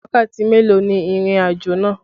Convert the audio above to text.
Wákàtí mélòó ni ìrìnàjò náà?